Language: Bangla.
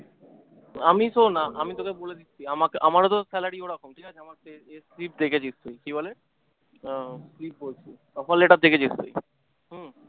আমি শোন আমি তোকে বলে দিচ্ছি আমা আমার ও যখন salary ওরকম ছিল কি বলে আহ বলছি offer letter দিয়েছিল